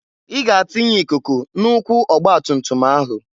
I ga atinye ikuku na ụkwụ ọgbatumtum ahu!